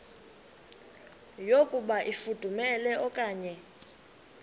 yokuba ifudumele okanye